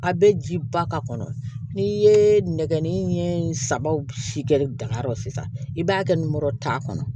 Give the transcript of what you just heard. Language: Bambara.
A bɛ ji ba ka kɔnɔ n'i ye nɛgɛnni ɲɛ saba si kɛ dankari sisan i b'a kɛ nmɔrɔ ta kɔnɔ